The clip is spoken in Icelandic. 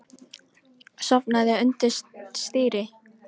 Sofnaði undir stýri